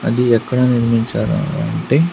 అది ఎక్కడ నిర్మించారు అంటే.